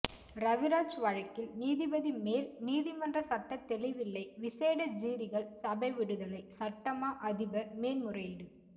ரவிராஜ் வழக்கில் நீதிபதி மேல் நீதிமன்ற சட்டத் தெளிவில்லை விசேட ஜீரிகள் சபை விடுதலை சட்டமா அதிபர் மேன்முறையீடு